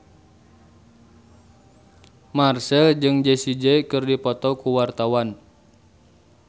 Marchell jeung Jessie J keur dipoto ku wartawan